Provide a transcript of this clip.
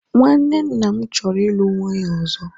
nwanne nna m choro ilu nwunye ozo